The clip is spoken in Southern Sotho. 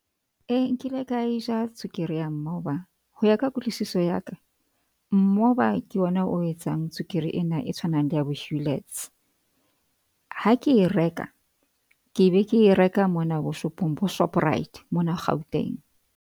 E nkile ka e ja tswekere ya mmoba ho ya ka kutlwisiso ya ka. Mmoba ke ona o etsang tswekere ena e tshwanang le ya bo-Huletts. Ha ke e reka, ke be ke e reka mona bo shopong bo Shoprite mona Gauteng.